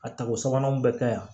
A tako sabanan bɛ kɛ yan